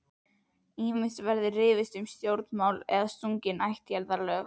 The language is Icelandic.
Ýmist var rifist um stjórnmál eða sungin ættjarðarlög.